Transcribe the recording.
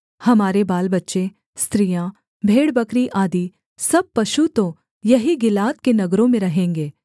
हमारे बालबच्चे स्त्रियाँ भेड़बकरी आदि सब पशु तो यहीं गिलाद के नगरों में रहेंगे